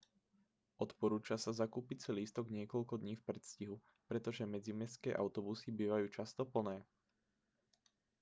odporúča sa zakúpiť si lístok niekoľko dní v predstihu pretože medzimestské autobusy bývajú často plné